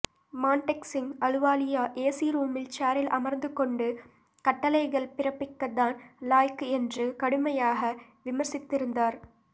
Montagu Singh Ahluwalia AC ரூமில் சேரில் அமர்ந்து கொண்டு கட்டளைகள் பிறப்பிக்கத் தான் லாயக்கு என்று கடுமையாக விமர்சித்திருந்தார்